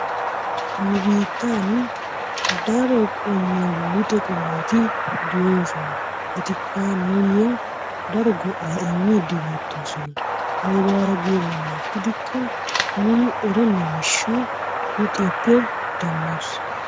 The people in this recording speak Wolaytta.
Nu biittaani daro qommo luxe qommoti de'oosona. Etikka nuuyoo daro gao'aa immiidi beettoosona. aybaara giyo meran gidikko nuuni erenna miishshaa luuxiyoppe demmoos.